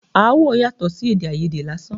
Aáwọ̀ yàtọ̀ sí èdè àìyedè lásán.